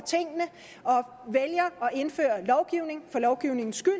indføre lovgivning for lovgivningens skyld